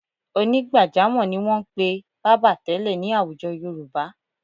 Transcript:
Onígbàjámọ̀ ni wọn ń pe bábà tẹ́lẹ̀ ní àwùjọ Yorùbá.